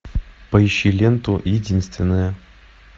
поищи ленту единственная